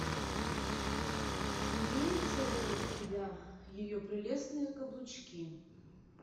имеются ли у тебя ее прелестные каблучки